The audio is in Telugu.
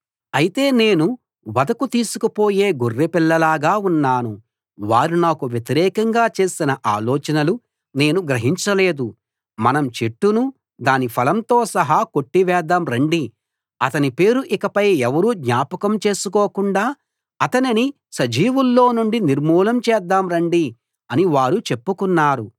అయితే నేను వధకు తీసుకుపోయే గొర్రెపిల్లలాగా ఉన్నాను వారు నాకు వ్యతిరేకంగా చేసిన ఆలోచనలు నేను గ్రహించలేదు మనం చెట్టును దాని ఫలంతో సహా కొట్టివేద్దాం రండి అతని పేరు ఇకపై ఎవరూ జ్ఞాపకం చేసుకోకుండా అతనిని సజీవుల్లో నుండి నిర్మూలం చేద్దాం రండి అని వారు చెప్పుకున్నారు